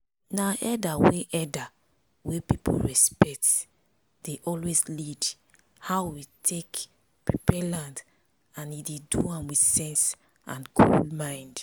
na elder wey elder wey people respect dey always lead how we take prepare land and e dey do am with sense and cool mind.